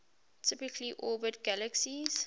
typically orbit galaxies